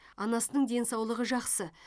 анасының денсаулығы жақсы